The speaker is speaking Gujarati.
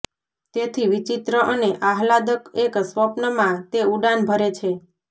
તેથી વિચિત્ર અને આહલાદક એક સ્વપ્ન માં તે ઉડાન ભરે છે